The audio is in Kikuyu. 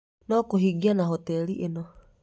No kũhingia na hoteli ĩno